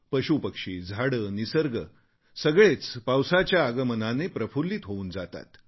पशूपक्षी झाडे निसर्ग सगळेच पावसाच्या आगमनाने प्रफुल्लित होऊन जातात